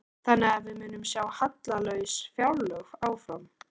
Þannig að við munum sjá hallalaus fjárlög áfram?